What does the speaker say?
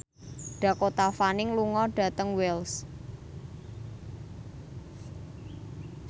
Dakota Fanning lunga dhateng Wells